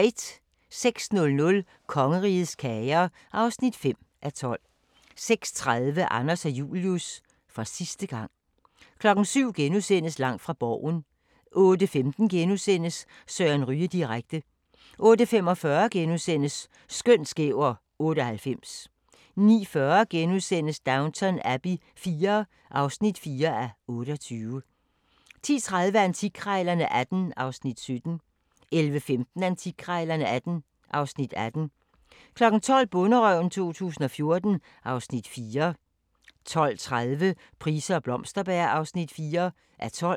06:00: Kongerigets kager (5:12) 06:30: Anders og Julius – for sidste gang 07:00: Langt fra Borgen * 08:15: Søren Ryge direkte * 08:45: Skøn, skæv og 98 * 09:40: Downton Abbey IV (4:28)* 10:30: Antikkrejlerne XVIII (Afs. 17) 11:15: Antikkrejlerne XVIII (Afs. 18) 12:00: Bonderøven 2014 (Afs. 4) 12:30: Price og Blomsterberg (4:12)